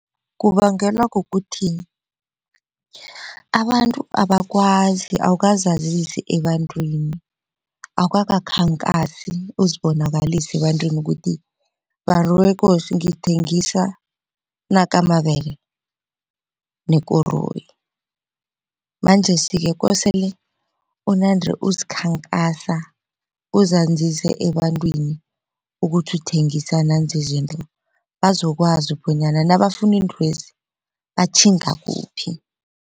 Kubangelwa kukuthi abantu abakwazi awukazazisi ebantwini awukaka khankhasi uzibonakalise ebantwini ukuthi bantu bekosi ngithengisa nakamabele nekoroyi. Manjesike kosele unande uzikhankasa uzazise ebantwini ukuthi uthengisa nanzi izinto bazokwazi bonyana nabafuna iintwezi batjhinga kuphi.